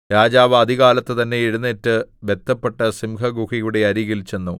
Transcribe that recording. രാജാവ് അതികാലത്തുതന്നെ എഴുന്നേറ്റ് ബദ്ധപ്പെട്ട് സിംഹഗുഹയുടെ അരികിൽ ചെന്നു